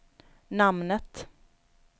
namnet